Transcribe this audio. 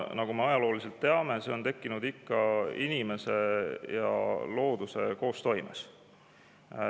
Nagu me ajalooliselt teame, need on tekkinud ikka inimese ja looduse koostoimes.